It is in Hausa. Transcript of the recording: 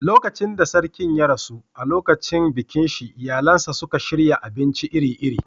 Lokacin da Sarkin ya rasu, a lokacin bikin shi iyalinsa suka shirya abinci iri-iri.